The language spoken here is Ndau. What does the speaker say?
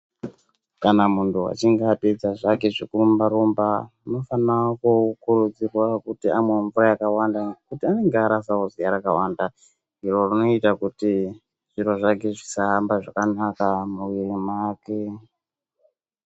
Kana munthu achinge apedza zvake zvekurumba rumba anofana kukurudzirwa kuti amwe mvura yakawanda nekuti anenge arasao ziya rakawanda iro rinoita kuti zviro zvake zvisaramba zvakanaka mumoyo mwake.